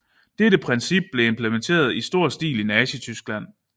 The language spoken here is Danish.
Dette princip blev implementeret i stor stil i Nazityskland